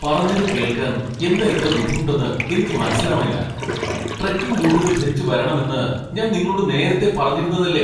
പറഞ്ഞത് കേൾക്കാൻ എന്താ ഇത്ര ബുദ്ധിമുട്ടെന്ന് എനിക്ക് മനസ്സിലാവണില്ല. ട്രെക്കിംഗ് ബൂട്ടുകൾ ധരിച്ച് വരണം എന്ന് ഞാൻ നിങ്ങളോട് നേരത്തെ പറഞ്ഞിരുന്നതല്ലേ ?